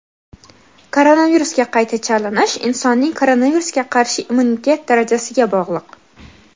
Koronavirusga qayta chalinish insonning koronavirusga qarshi immunitet darajasiga bog‘liq.